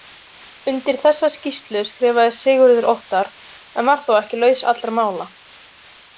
Undir þessa skýrslu skrifaði Sigurður Óttar en var þó ekki laus allra mála.